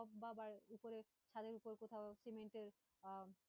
বা উপরে ছাদের ওপরে কোথাও সিমেন্টের আহ